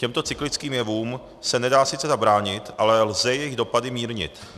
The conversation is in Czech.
Těmto cyklickým jevům se nedá sice zabránit, ale lze jejich dopady mírnit.